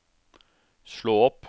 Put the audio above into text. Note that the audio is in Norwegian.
slå opp